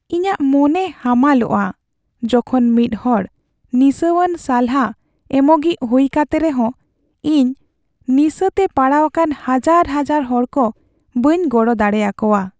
ᱤᱧᱟᱹᱜ ᱢᱚᱱᱮ ᱦᱟᱢᱟᱞᱚᱜᱼᱟ ᱡᱚᱠᱷᱚᱱ ᱢᱤᱫᱦᱚᱲ ᱱᱤᱥᱟᱣᱟᱱ ᱥᱟᱞᱦᱟ ᱮᱢᱚᱜᱤᱡ ᱦᱩᱭ ᱠᱟᱛᱮ ᱨᱮᱦᱚᱸ ᱤᱧ ᱱᱤᱥᱟᱹᱛᱮ ᱯᱟᱲᱟᱣᱟᱠᱟᱱ ᱦᱟᱡᱟᱨ ᱦᱟᱡᱟᱨ ᱦᱚᱲᱠ ᱵᱟᱹᱧ ᱜᱚᱲᱚ ᱫᱟᱲᱮᱭᱟᱠᱚᱣᱟ ᱾